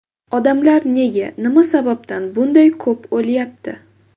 Odamlar nega, nima sababdan bunday ko‘p o‘lyapti?